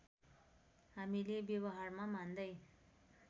हामीले व्यवहारमा मान्दै